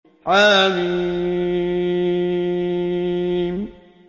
حم